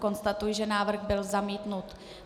Konstatuji, že návrh byl zamítnut.